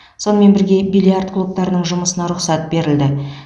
сонымен бірге бильярд клубтарының жұмысына рұқсат берілді